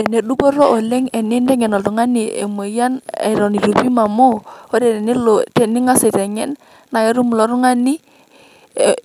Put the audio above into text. ene dupoto oleng' teniteng'en oltung'ani emoyian eton eitu ibung' oleng' amu tiniteng'en naa